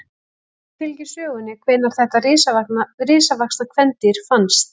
Ekki fylgir sögunni hvenær þetta risavaxna kvendýr fannst.